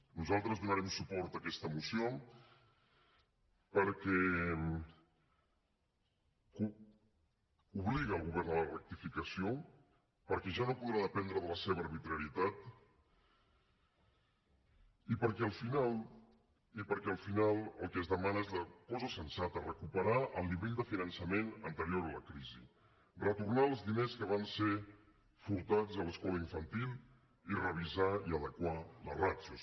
nosaltres donarem suport a aquesta moció perquè obliga el govern a la rectificació perquè ja no podrà dependre de la seva arbitrarietat i perquè al final i perquè al final el que es demana és la cosa sensata recuperar el nivell de finançament anterior a la crisi retornar els diners que van ser furtats a l’escola infantil i revisar i adequar les ràtios